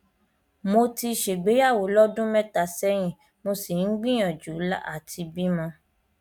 mo ti ṣègbéyàwó lọdún mẹta sẹyìn mo sì ń gbìyànjú àti bímọ